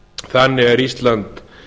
þannig er ísland